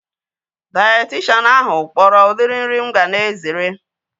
Dayetishanụ ahu kpọrọ udiri nri mụ ga na-ezere